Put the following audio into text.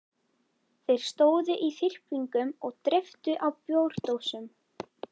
Þeir stóðu í þyrpingum og dreyptu á bjórdósum.